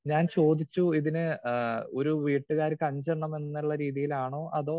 speaker 2 ഞാൻ ചോദിച്ചു ഇതിന് ആഹ് ഒരു വീട്ടുകാർക്ക് അഞ്ചെണ്ണം എന്നുള്ള രീതിയിലാണോ അതോ